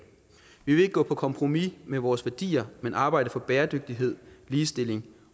vi vil ikke gå på kompromis med vores værdier men arbejde for bæredygtighed ligestilling